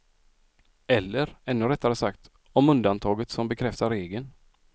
Eller, ännu rättare sagt, om undantaget som bekräftar regeln.